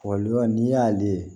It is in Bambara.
n'i y'ale ye